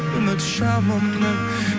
үміт шамымның